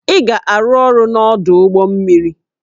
Ị ga-arụ ọrụ n'ọdụ ụgbọ mmiri!